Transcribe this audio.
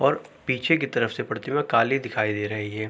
और पीछे की तरफ से प्रतिमा काली दिखाई दे रही है।